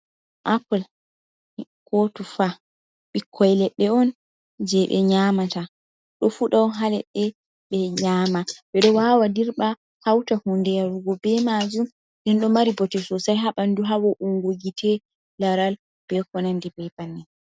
Apple ko tufa ɓikkoy ledɗe on je ɓe nyamata ɗo fuɗa on ha ledɗe ɓe nyama, ɓe ɗo wawa dirɓa hauta hunde yarugo be majum den ɗo mari bote sosai ha ɓandu ha wo'ungo gite, laral, be konandi be banin.